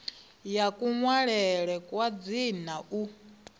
ya kunwalele kwa dzina u